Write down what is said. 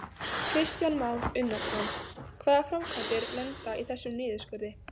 Kristján Már Unnarsson: Hvaða framkvæmdir lenda í þessum niðurskurði?